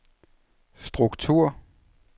struktur